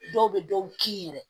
Dɔw bɛ dɔw kin yɛrɛ